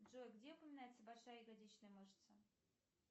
джой где упоминается большая ягодичная мышца